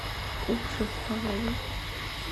уксус столовый